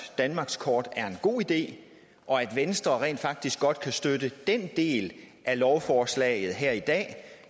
danmarkskort er en god idé og at venstre rent faktisk godt kan støtte den del af lovforslaget her i dag